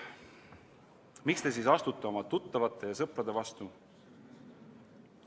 Miks te siis astute oma tuttavate ja sõprade vastu?